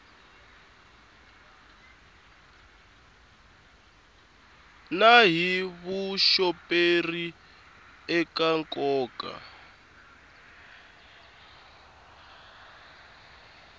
na hi vuxoperi eka nkoka